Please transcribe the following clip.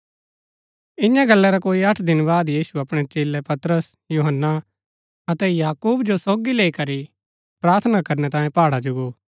ईयां गला रै कोई अठ दिन बाद यीशु अपणै चेलै पतरस यूहन्‍ना अतै याकूब जो सोगी लैई करी प्रार्थना करनै तांयें पहाड़ा जो गो